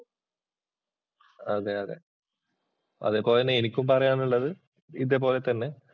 അതേ, അതെ, അതേപോലെതന്നെ എനിക്കും പറയാനുള്ളത് ഇതേപോലെ തന്നെ